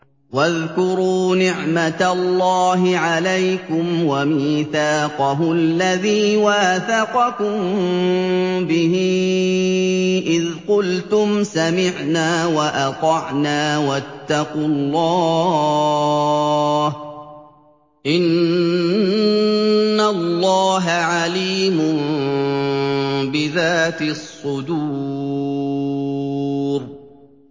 وَاذْكُرُوا نِعْمَةَ اللَّهِ عَلَيْكُمْ وَمِيثَاقَهُ الَّذِي وَاثَقَكُم بِهِ إِذْ قُلْتُمْ سَمِعْنَا وَأَطَعْنَا ۖ وَاتَّقُوا اللَّهَ ۚ إِنَّ اللَّهَ عَلِيمٌ بِذَاتِ الصُّدُورِ